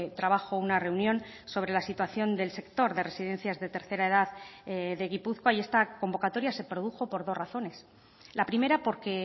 trabajo una reunión sobre la situación del sector de residencias de tercera edad de gipuzkoa y esta convocatoria se produjo por dos razones la primera porque